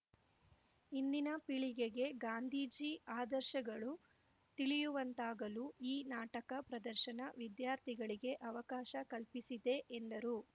ಇಂದಿನ ಪೀಳಿಗೆಗೆ ಗಾಂಧೀಜಿ ಆದರ್ಶಗಳು ತಿಳಿಯುವಂತಾಗಲು ಈ ನಾಟಕ ಪ್ರದರ್ಶನ ವಿದ್ಯಾರ್ಥಿಗಳಿಗೆ ಅವಕಾಶ ಕಲ್ಪಿಸಿದೆ ಎಂದರು